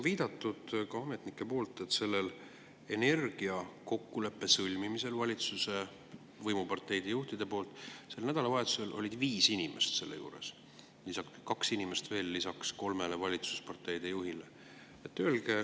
Ka ametnikud on viidanud, et sellel valitsuse võimuparteide juhtide energiakokkuleppe sõlmimisel sel nädalavahetusel oli viis inimest: kaks inimest veel lisaks kolmele valitsuspartei juhile.